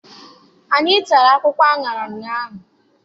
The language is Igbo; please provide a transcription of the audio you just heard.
Anyị tara akwụkwọ aṅara ụnyaahụ.